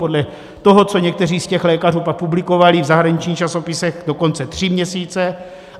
Podle toho, co někteří z těch lékařů pak publikovali v zahraničních časopisech, dokonce tři měsíce.